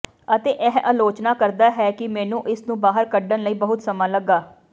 ਅਤੇ ਇਹ ਅਲੋਚਨਾ ਕਰਦਾ ਹੈ ਕਿ ਮੈਨੂੰ ਇਸ ਨੂੰ ਬਾਹਰ ਕੱਢਣ ਲਈ ਬਹੁਤ ਸਮਾਂ ਲੱਗਾ